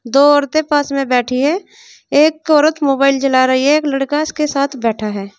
दो औरतें पास में बैठी हैं एक औरत मोबाइल चला रही है एक लड़का उसके साथ बैठा है।